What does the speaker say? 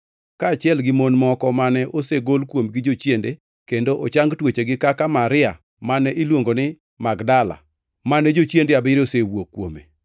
kaachiel gi mon moko mane osegol kuomgi jochiende kendo ochang tuochegi kaka Maria (mane iluongo ni Magdala) mane jochiende abiriyo osewuok kuome;